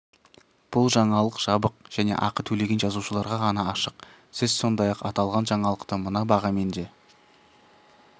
бұл жаңалық жабық және ақы төлеген жазылушыларға ғана ашық сіз сондай-ақ аталған жаңалықты мына бағамен де